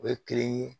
O ye kelen ye